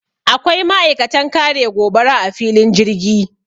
akwai ma'aikatan kare gobara a filin jirgi